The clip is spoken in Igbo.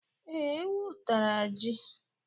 Ee, ewu tara ji.